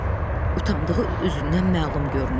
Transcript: Utandığı üzündən məlum görünürdü.